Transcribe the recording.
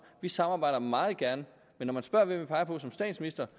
vi samarbejder meget gerne men når man spørger hvem vi peger på som statsminister